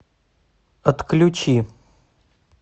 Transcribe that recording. отключи